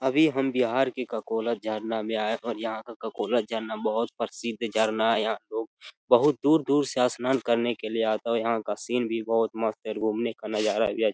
अभी हम बिहार के ककोला झरना में आए और यहाँ का ककोला झरना बोहोत प्रसिद्ध झरना है यहाँ लोग बोहोत दूर-दूर से स्नान करने के लिए आते है यहाँ का सीन भी बोहोत मस्त है घुमने का नजारा भी अच्छ --